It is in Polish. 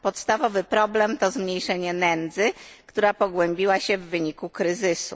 Podstawowy problem to zmniejszenie nędzy, która pogłębiła się w wyniku kryzysu.